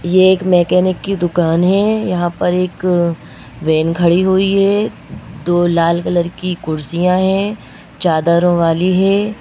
ये एक मैकेनिक की दुकान है यहां पर एक वैन --